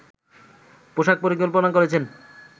পোষাক পরিকল্পনা করেছেন